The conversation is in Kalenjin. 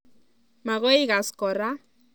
Magoi igaas kora